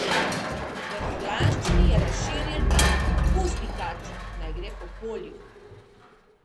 V furlanščini je razširjen rek: "Pusti kačo, naj gre po polju".